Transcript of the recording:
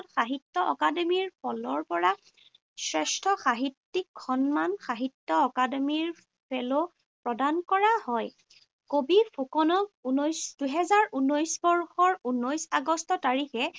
সাহিত্য অকাডেমীৰ ফালৰ পৰা শ্ৰেষ্ঠ সাহিত্যিক সন্মান সাহিত্য অকাডেমীৰ ফেল প্ৰদান কৰা হয়। কবি ফুকনক ঊনৈশ দুহেজাৰ ঊনৈশ বৰ্ষৰ ঊনৈশ আগষ্ট তাৰিখে